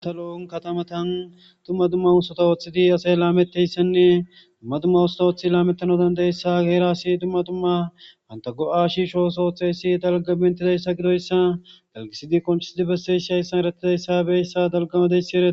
Asa loon katamatan tumma tumma usota ooththidi asay laameteyssenne tumma tumma usta ooththi laamettano dandayssa geerasi tumma tumma anta go'a shiisho sootheysi dalga bentidayssa gidoyssa dalgisidi kongisidi besseshi ayssan erattidayssabeyssa dalgamadessiee.